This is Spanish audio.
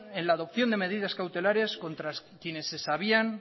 en la adopción de medidas cautelares contra quienes se sabían